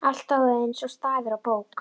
Allt stóð eins og stafur á bók.